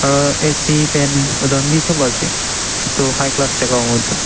A C fan etu khan bi sop ase etu High class jaka howo etu